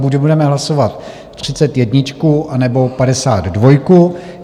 Buď budeme hlasovat třicet jedničku, anebo padesát dvojku.